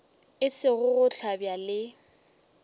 e sego go hlabja le